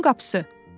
Parkın qapısı.